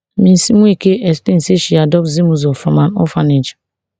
mrs nweke explain say she adopt zimuzo from an orphanage